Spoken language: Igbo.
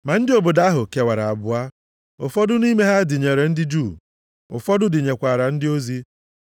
Ma ndị obodo ahụ kewara abụọ, ụfọdụ nʼime ha dịnyere ndị Juu. Ụfọdụ dịnyekwara ndị ozi.